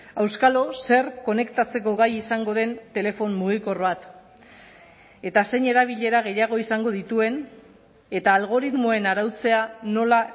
auskalo zer konektatzeko gai izango den telefono mugikor bat eta zein erabilera gehiago izango dituen eta algoritmoen arautzea nola